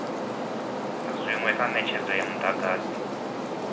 zwinwe kha netshedzo ya mudagasi